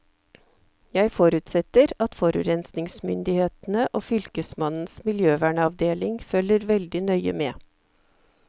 Jeg forutsetter at forurensningsmyndighetene og fylkesmannens miljøvernavdeling følger veldig nøye med.